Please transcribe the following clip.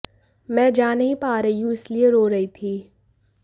मैं जा नहीं पा रही हूँ इसीलिए रो रही थी